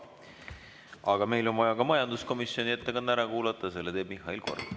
Aga meil on vaja ka majanduskomisjoni ettekanne ära kuulata, selle teeb Mihhail Korb.